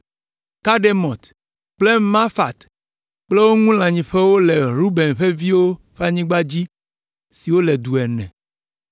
Kedemot kple Mefaat kple wo ŋu lãnyiƒewo le Ruben ƒe viwo ƒe anyigba dzi siwo le du ene.